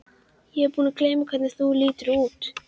Ég er búin að gleyma hvernig þú lítur út.